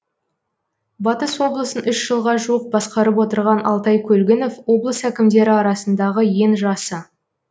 батыс облысын үш жылға жуық басқарып отырған алтай көлгінов облыс әкімдері арасындағы ең жасы